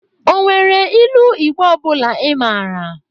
O nwere ilu Igbo ọ bụla Ị mara?